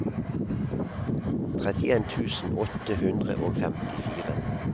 trettien tusen åtte hundre og femtifire